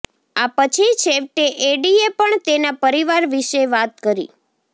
આ પછી છેવટે એડીએ પણ તેના પરિવાર વિશે વાત કરી